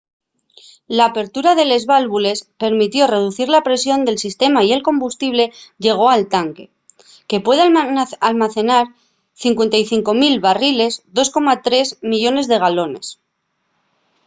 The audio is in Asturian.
l'apertura de les válvules permitió reducir la presión del sistema y el combustible llegó al tanque que puede almacenar 55 000 barriles 2,3 millones de galones